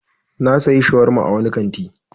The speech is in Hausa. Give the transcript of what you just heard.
Na sayi shawarma a wani kanti.